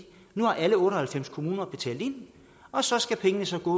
nu har alle otte og halvfems kommuner betalt ind og så skal pengene gå